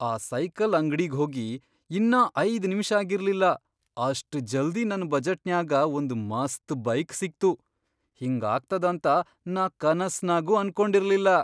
ಆ ಸೈಕಲ್ ಅಂಗ್ಡಿಗ್ಹೋಗಿ ಇನ್ನಾ ಐದ್ ನಿಮಿಷಾಗಿರ್ಲಿಲ್ಲಾ ಅಷ್ಟ್ ಜಲ್ದಿ ನನ್ ಬಜೆಟ್ನ್ಯಾಗ ಒಂದ್ ಮಸ್ತ್ ಬೈಕ್ ಸಿಕ್ತು, ಹಿಂಗಾಗ್ತದಂತ ನಾ ಕನಸ್ನಾಗೂ ಅನ್ಕೊಂಡಿರ್ಲಿಲ್ಲಾ.